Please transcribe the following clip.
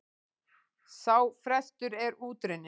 Sá frestur er út runninn.